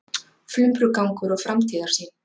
Flumbrugangur og framtíðarsýn